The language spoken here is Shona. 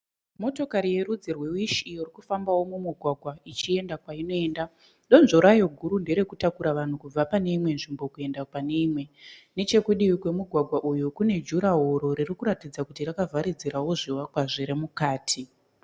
Motokari yerudzi rwe wishi, iyo irkufambao mugwagwa ichienda kwainoenda donzvo rayo guru nderekutakura vanhu kubva pane imwe nzvimbo kuenda pane imwe. nechekudivi kune juraworo ririkuratidza kuti rakavharidzirao zvivakwa zviri mukati.